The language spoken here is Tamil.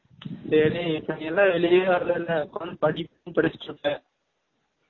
டேய் டேய் இப்ப நீ எல்லாம் வெலீயவே வர்லலா உட்காந்து படிப்பா படிசிட்டு இருப்ப